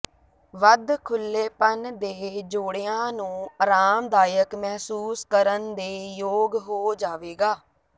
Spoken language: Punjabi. ਵੱਧ ਖੁਲੇਪਨ ਦੇ ਜੋੜਿਆਂ ਨੂੰ ਅਰਾਮਦਾਇਕ ਮਹਿਸੂਸ ਕਰਨ ਦੇ ਯੋਗ ਹੋ ਜਾਵੇਗਾ